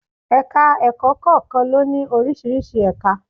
Ẹ̀ka-ẹ̀kọ́ kọ̀ọ̀kan ló ní oríṣiríṣi ẹ̀ka.